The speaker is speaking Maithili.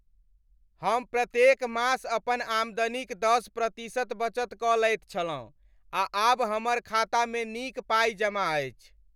हम प्रत्येक मास अपन आमदनीक दश प्रतिशत बचत कऽ लैत छलहुँ आ आब हमर खातामे नीक पाइ जमा अछि।